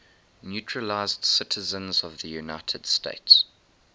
naturalized citizens of the united states